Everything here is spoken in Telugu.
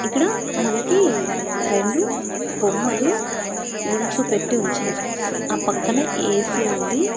ఇక్కడ మనకి రెండు బొమ్మలు నిల్చోపెట్టి ఉంచారు ఆ పక్కనే ఏ_సి ఉంది.